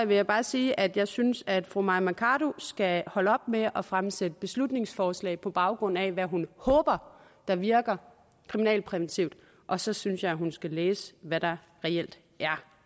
vil jeg bare sige at jeg synes at fru mai mercado skal holde op med at fremsætte beslutningsforslag på baggrund af hvad hun håber der virker kriminalpræventivt og så synes jeg at hun skal læse hvad der reelt er